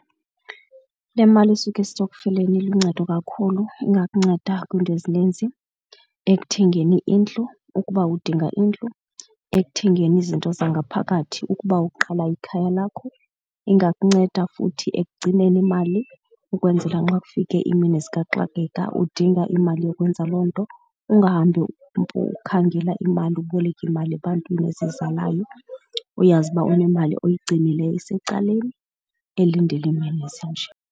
Le mali isuka isitokfeleni iluncedo kakhulu ingakunceda kwiinto ezininzi. Ekuthengeni indlu ukuba udinga indlu, ekuthengeni izinto zangaphakathi ukuba uqala ikhaya lakho. Ingakunceda futhi ekugcineni imali ukwenzela nxa kufike imini zikaxakeka udinga imali yokwenza loo nto, ungahambi ukhangela imali uboleke imali ebantwini ezizalayo, uyazi uba unemali oyigcinileyo esecaleni elindele iimini ezinje.